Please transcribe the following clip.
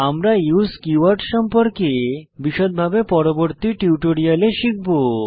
আমরা use keyword সম্পর্কে বিষদভাবে পরবর্তী টিউটোরিয়ালে শিখব